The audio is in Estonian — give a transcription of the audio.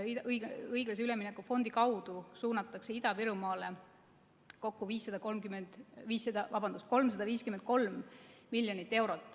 Õiglase ülemineku fondi kaudu suunatakse Ida-Virumaale kokku 353 miljonit eurot.